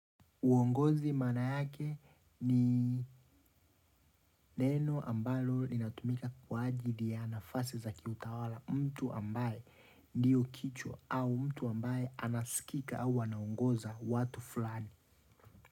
Uongozi maana yake ni neno ambalo linatumika kwa ajili ya nafasi za kiutawala mtu ambae ndiyo kichwa au mtu ambaye anasikika au wanaongoza watu fulani.